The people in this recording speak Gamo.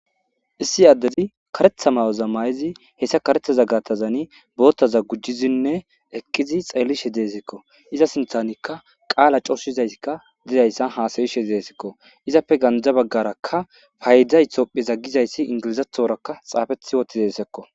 issi addezi karetha mayoza may7izi hessa karethaza gatazani boottaza gujizinne eqqizi xeelishe deesekko iza sinthanikka qaala cooshizaysikka didayssa haasayishe deesekko izappe ganja baggaraka fayda itopphe za gizayssi ingilizathorakka xaafethi wotidesekko